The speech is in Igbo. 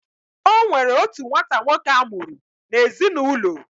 Onwere otu nwata nwoke amuru na ezi na ulo.